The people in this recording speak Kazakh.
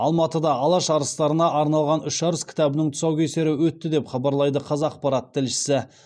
алматыда алаш арыстарына арналған үш арыс кітабының тұсаукесері өтті деп хабарлайды қазақпарат тілшісі